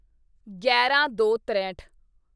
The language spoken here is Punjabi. ਗਿਆਰਾਂਦੋਤਰੇਹਠ